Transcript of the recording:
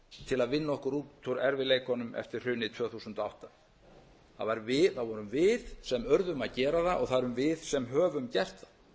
til að vinna okkur út úr erfiðleikunum eftir hrunið tvö þúsund og átta það vorum við sem urðum að gera það og það erum við sem höfum gert það